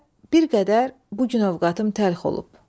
Elə bir qədər bu gün övqətim təlx olub.